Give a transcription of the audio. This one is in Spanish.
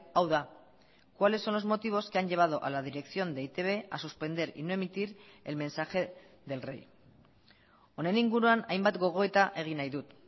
hau da cuáles son los motivos que han llevado a la dirección de e i te be a suspender y no emitir el mensaje del rey honen inguruan hainbat gogoeta egin nahi dut